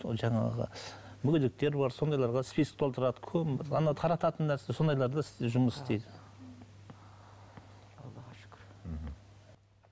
сол жаңағы мүгедектер бар сондайларға список толтырады тарататын нәрсе сондайларда жұмыс істейді